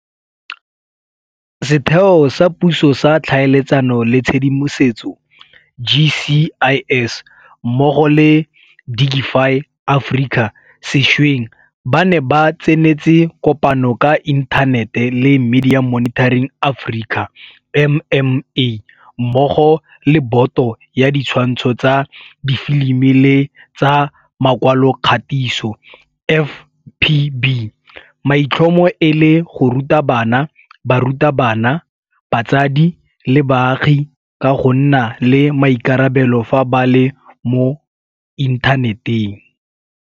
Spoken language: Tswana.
Setheo sa Puso sa Tlhaeletsano le Tshedimosetso, GCIS, mmogo le Digify Africa sešweng ba ne ba tsenetse kopano ka inthanete le Media Monitoring Africa, MMA, mmogo le Boto ya Ditshwantsho tsa Difilimi le tsa Makwalokgatiso, FPB, maitlhomo e le go ruta bana, barutabana, batsadi le baagi ka go nna le maikarabelo fa ba le mo inthaneteng.